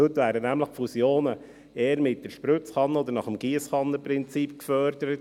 Heute werden nämlich Fusionen eher nach dem Giesskannenprinzip gefördert.